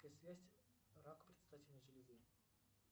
рак предстательной железы